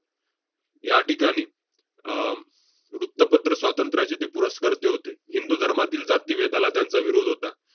या ठिकाणी अह वृत्तपत्र स्वातंत्र्याचे ते पुरस्कर्ते होते. हिंदू धर्मातील जातिभेदाला त्यांचा विरोध होता.